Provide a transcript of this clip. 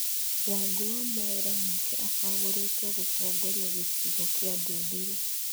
Wangũwa Mwaũra nake acagũrĩtwo gũtongoria gĩcigo kĩa Ndũndũrĩ.